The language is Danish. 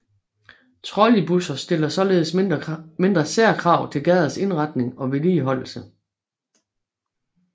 Trolleybusser stiller således mindre særkrav til gaders indretning og vedligeholdelse